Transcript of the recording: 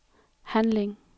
handling